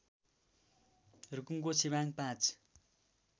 रुकुमको छिबाङ ५